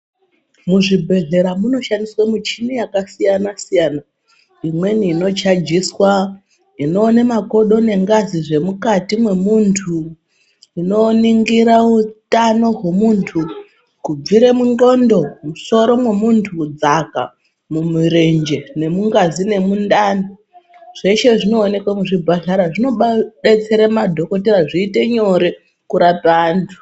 Muzvibhedlera munoshandiswe michini yakasiyana siyana. Imweni inochajiswa ,inowone makodo nengazi zvemukati memuntu, inoningira hutano wemuntu kubvire mungxondo ,mumusoro memuntu, kudzaka mumurenje nemungazi nemundani. Zveshe zvinowoneka muzvibhadhara. Zvino detsera madhokodheya zviite nyore kurapa antu.